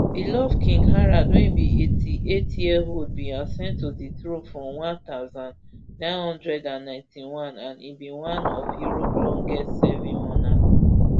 beloved king harald wey be eighty-eightyearold bin ascend to di throne for one thousand, nine hundred and ninety-one and e be one of europe longestserving monarchs